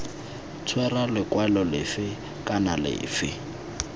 tshwera lekwalo lefe kana lefe